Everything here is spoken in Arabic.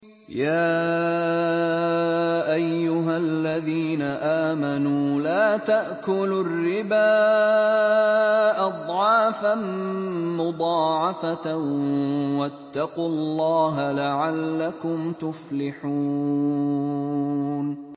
يَا أَيُّهَا الَّذِينَ آمَنُوا لَا تَأْكُلُوا الرِّبَا أَضْعَافًا مُّضَاعَفَةً ۖ وَاتَّقُوا اللَّهَ لَعَلَّكُمْ تُفْلِحُونَ